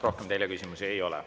Rohkem teile küsimusi ei ole.